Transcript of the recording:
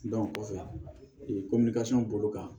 kɔfɛ bolo kan